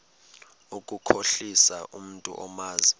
ukukhohlisa umntu omazi